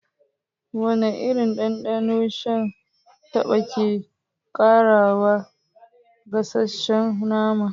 Wane irin dandano shan taba ke ƙarawa gasasshen nama?